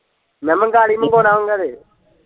ਮੈਂ ਕਿਹਾ ਮੰਗਵਾ ਲਈ ਮੰਗਵਾਉਣਾ ਹੁੰਗਾ ਤੇ।